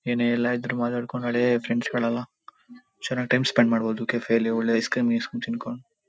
ಏನೇ ಎಲ್ಲಾ ಇದ್ರೂ ಮಾತಾಡ್ಕೊಂಡು ಹಳೆ ಫ್ರೆಂಡ್ಸ್ ಗಳೆಲ್ಲಾ ಚೆನ್ನಾಗ್ ಟೈಮ್ ಸ್ಪೆಂಡ್ ಮಾಡಬಹುದು ಕೆಫೆ ಯಲ್ಲಿ ಒಳ್ಳೆ ಐಸ್ಕ್ರೀಂ ಗಿಸ್ಕ್ರಿಂ ತಿನ್ಕೊಂಡು.--